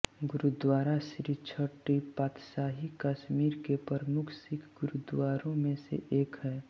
गुरुद्वारा श्री छटी पातशाही कश्मीर के प्रमुख सिख गुरूद्वारों में से एक है